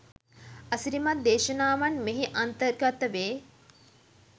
අසිරිමත් දේශනාවන් මෙහි අන්තර්ගත වේ.